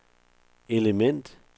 element